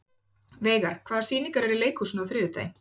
Veigar, hvaða sýningar eru í leikhúsinu á þriðjudaginn?